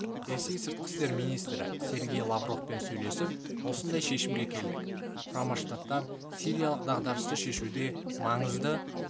ресей сыртқы істер министрі сергей лавровпен сөйлесіп осындай шешімге келдік құрама штаттар сириялық дағдарысты шешуде маңызды